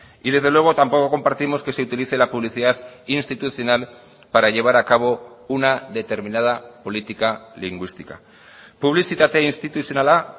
y desde luego tampoco compartimos que se utilice la publicidad institucional para llevar a cabo una determinada política lingüística publizitate instituzionala